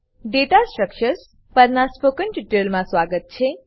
દાતા structures પરનાં spoken ટ્યુટોરીયલમાં સ્વાગત છે